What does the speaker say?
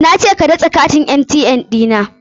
Na ce ka datse katin ATM ɗi na.